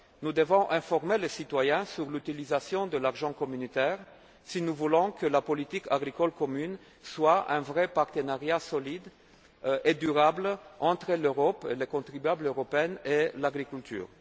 Nous devons informer les citoyens sur l'utilisation de l'argent communautaire si nous voulons que la politique agricole commune soit un véritable partenariat solide et durable entre l'Europe, le contribuable européen et l'agriculture.